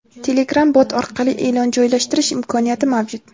Telegram Bot orqali e’lon joylashtirish imkoniyati mavjud.